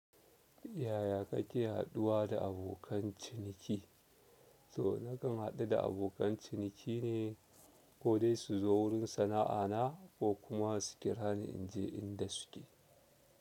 Yaya kake haɗuwa da abokan ciniki? To nakan haɗu da abokan ciniki ne ko dai su zo wurin sana'ana ko kuma su kira ni in je inda su ke.